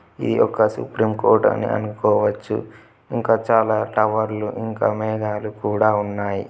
ఇది ఒక supreme court అనుకోవచ్చు. ఇంకా చాలా టవర్ లు ఇంకా మేఘాలు కూడా ఉన్నాయి.